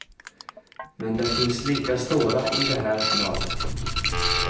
Men det finns lika stora i det här laget.